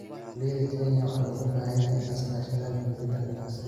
Beeralayda Kenya waxa looga baahan yahay in ay iska kaashadaan xoojinta ganacsiga.